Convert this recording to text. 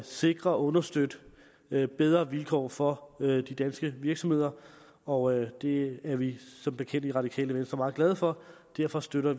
sikre og understøtte bedre vilkår for de danske virksomheder og det er vi som bekendt i radikale venstre meget glade for og derfor støtter